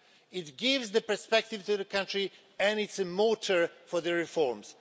It gives the perspective to the country and is a motor for the reforms.